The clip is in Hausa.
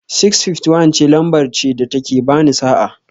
651 ce lamber ce da ta ke ba ni sa'a.